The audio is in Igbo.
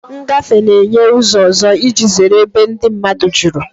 Ngafe na-enye ụzọ ọzọ iji zere ebe ndị mmadụ juru.